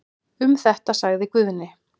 Um þetta sagði Guðni.